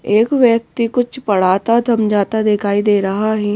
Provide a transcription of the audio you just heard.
एक व्यक्ति कुछ पढ़ाता समझाता दिखाई दे रहा है ।